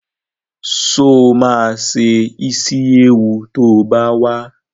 Sọ ma se Ísíéwu to bá wá?